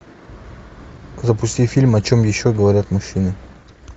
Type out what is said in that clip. запусти фильм о чем еще говорят мужчины